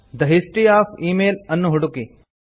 the history of email ಅನ್ನು ಹುಡುಕಿ